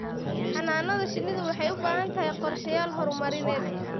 Xannaanada shinnidu waxay u baahan tahay qorshayaal horumarineed.